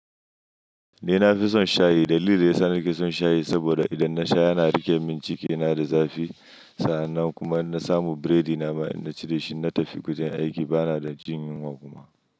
Ni na fi son shayi. Dalili da ya sa nake son shayi saboda idan na sha yana riƙe min cikina da zafi. Sa'an nan kuma in na samu biredi na ma, in na ci shi, na tafi wajen aiki ba na da jin yunwa kuma.